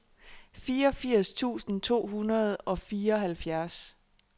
fireogfirs tusind to hundrede og fireoghalvfjerds